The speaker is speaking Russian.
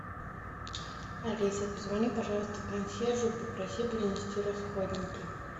алиса позвони пожалуйста консьержу попроси принести расходники